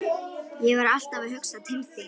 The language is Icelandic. Ég var alltaf að hugsa til þín.